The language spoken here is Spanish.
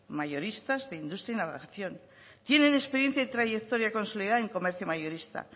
mayoristas de industria y navegación tienen experiencia en trayectoria consolidada en comercio mayorista